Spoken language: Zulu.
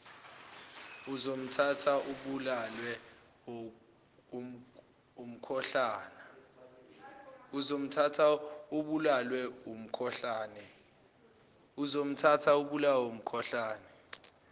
uzomthatha ubulawe wumkhuhlane